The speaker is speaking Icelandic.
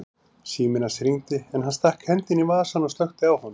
Síminn hans hringdi en hann stakk hendinni í vasann og slökkti á honum.